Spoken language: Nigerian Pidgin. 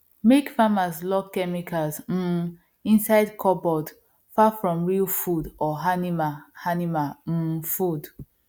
make farmers lock chemicals um inside cupboard far from real food or animal animal um food